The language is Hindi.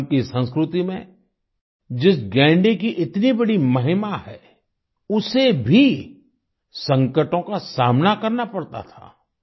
असम की संस्कृति में जिस गैंडे की इतनी बड़ी महिमा है उसे भी संकटों का सामना करना पड़ता था